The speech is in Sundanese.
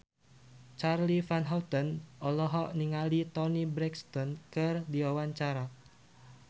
Charly Van Houten olohok ningali Toni Brexton keur diwawancara